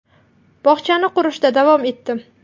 Bog‘chani qurishda davom etdim.